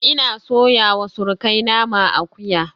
Ina soyawa surukai naman akuya